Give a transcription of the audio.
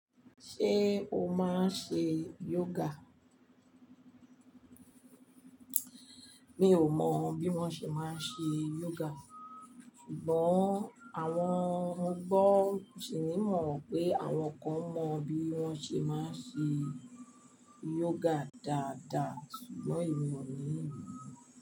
Ṣé o máa ń ṣe yoga? Mi ò mọ bí wón ṣe máa ń ṣe yoga, ṣùgbọ́n àwọn mo gbọ́ ṣìní mọ̀ pé àwọn kan mọ bí wón ṣe máa ń ṣe yoga dáadáa ṣùgbọ́n èmi ò ní ìmọ̀.